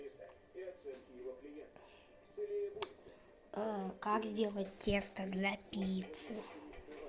как сделать тесто для пиццы